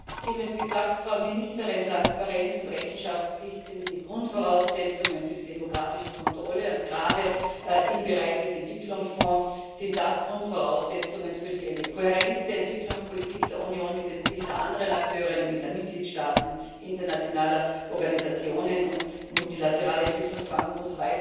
Sie haben es gesagt, Frau Ministerin Transparenz und Rechenschaftspflicht sind die Grundvoraussetzungen für die demokratische Kontrolle, und gerade im Bereich des Entwicklungsfonds sind das Grundvoraussetzungen für eine Kohärenz der Entwicklungspolitik der Union mit den Zielen der anderen Akteure, nämlich der Mitgliedstaaten, internationaler Organisationen und multilateraler Entwicklungsbanken usw.